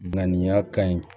Ŋaniya ka ɲi